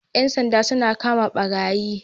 Yan sanja suna kama barayi